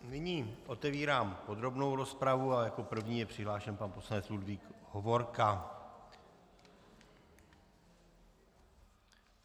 Nyní otevírám podrobnou rozpravu a jako první je přihlášen pan poslanec Ludvík Hovorka.